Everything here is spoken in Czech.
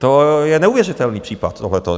To je neuvěřitelný případ tohleto.